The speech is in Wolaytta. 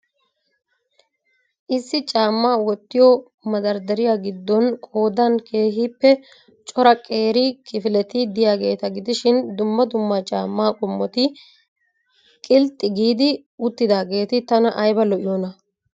Issi caammaa wottiyo madardariya gidoon qoodan keehiippe cora qeeri kifileti diyageeta gidishiin dumma dumma caamma qommotti qilxxi giid uttageetti tana aybba lo'iyoona!